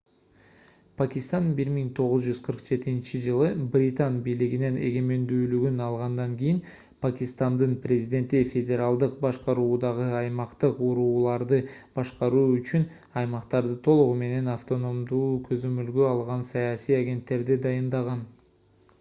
пакистан 1947-жылы британ бийлигинен эгемендүүлүгүн алгандан кийин пакистандын президенти федералдык башкаруудагы аймактык урууларды башкаруу үчүн аймактарды толугу менен автономдуу көзөмөлгө алган саясий агенттерди дайындаган